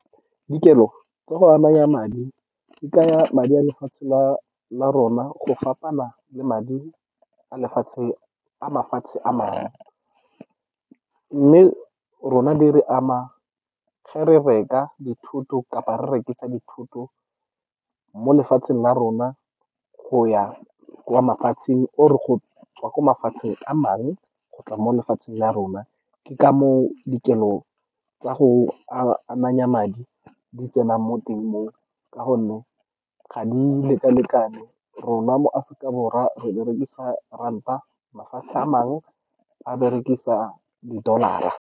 Dikelo tsa go ananya madi di kaya madi a lefatshe la rona, go fapana le madi a mafatshe a mangwe. Mme rona, di re ama ge re reka dithoto kapa re rekisa dithoto mo lefatsheng la rona, go ya kwa mafatsheng, or go tswa kwa mafatsheng a mangwe go tla mo lefatsheng la rona. Ke ka moo dikelo tsa go ananya madi di tsenang mo teng moo, ka gonne ga di leka-lekane. Rona mo Aforika Borwa re berekisa ranta, mafatshe a mangwe a berekisa di dollar-ra.